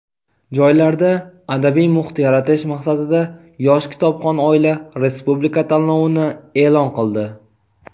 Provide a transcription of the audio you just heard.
joylarda adabiy muhit yaratish maqsadida "Yosh kitobxon oila" respublika tanlovini eʼlon qildi.